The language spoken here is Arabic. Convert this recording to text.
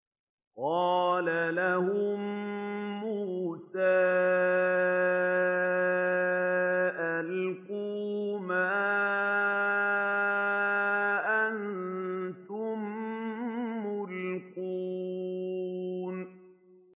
قَالَ لَهُم مُّوسَىٰ أَلْقُوا مَا أَنتُم مُّلْقُونَ